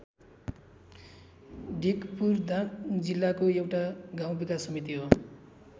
ढिकपुर दाङ जिल्लाको एउटा गाउँ विकास समिति हो।